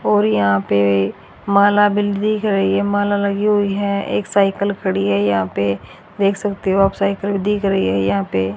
और यहां पे माला बिल दिख रही है माला लगी हुई है एक साइकिल खड़ी है यहां पे देख सकते हो आप साइकिल दिख रही है यहां पे।